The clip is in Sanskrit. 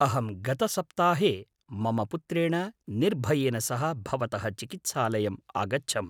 अहं गतसप्ताहे मम पुत्रेण निर्भयेन सह भवतः चिकित्सालयम् आगच्छम्।